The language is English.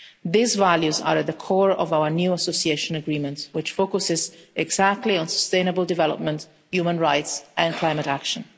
These values are at the core of our new Association Agreements which focus exactly on sustainable development, human rights and climate action.